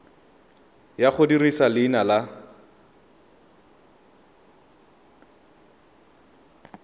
ya go dirisa leina la